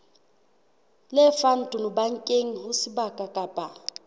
lefang tonobankeng ho sebaka kapa